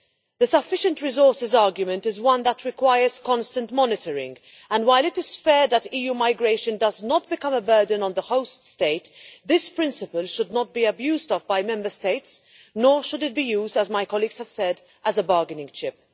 The sufficient resources' argument is one that requires constant monitoring and, while it is fair that EU migration does not become a burden on the host state, this principle should not be abused by Member States, nor should it be used, as my colleagues have said, as a bargaining chip.